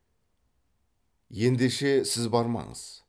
ендеше сіз бармаңыз